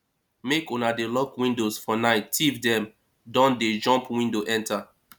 make una dey lock windows for night tif dem don dey jump window enta